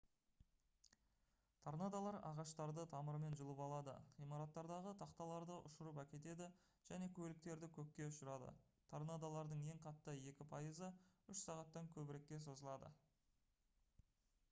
торнадолар ағаштарды тамырымен жұлып алады ғимараттардағы тақталарды ұшырып әкетеді және көліктерді көкке ұшырады торнадолардың ең қатты екі пайызы үш сағаттан көбірекке созылады